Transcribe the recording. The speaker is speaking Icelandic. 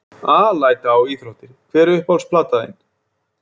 Alæta á íþróttir Hver er uppáhalds platan þín?